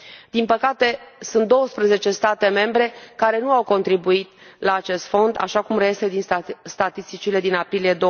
Din păcate sunt 12 state membre care nu au contribuit la acest fond, așa cum reiese din statisticile din aprilie